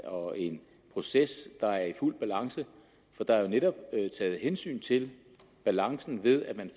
og en proces der er fuldt balance for der er jo netop taget hensyn til balancen ved at man